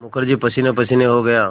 मुखर्जी पसीनेपसीने हो गया